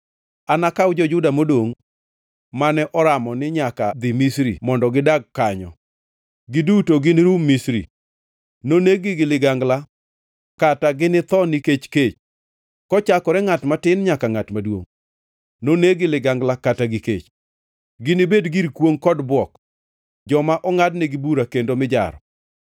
Anakaw jo-Juda modongʼ mane oramo ni nyaka dhi Misri mondo gidak kanyo. Giduto ginirum Misri; noneg-gi gi ligangla kata ginitho nikech kech. Kochakore ngʼat matin nyaka ngʼat maduongʼ, noneg-gi gi ligangla kata gi kech. Ginibed gir kwongʼ kod bwok, joma ongʼadnegi bura kendo mijaro.